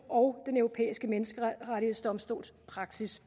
og den europæiske menneskerettighedsdomstols praksis